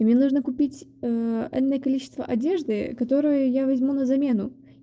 и мне нужно купить энное количество одежды которую я возьму на замену